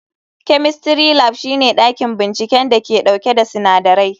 Chemistry Lab shine dakin binciken da ke dauke da sinadarai.